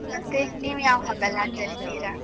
ಮತ್ತೆ, ನೀವು ಯಾವ ಹಬ್ಬ ಎಲ್ಲ ಆಚರಿಸ್ತೀರಾ?